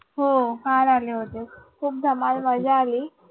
हो काल आले होते. खूप धम्माल मज्जा आली.